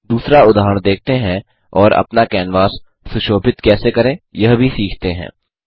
दूसरा उदाहरण देखते हैं और अपना कैनवास सुशोभित कैसे करें यह भी सीखते हैं